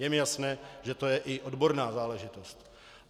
Je mi jasné, že to je i odborná záležitost.